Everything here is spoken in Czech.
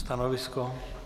Stanovisko?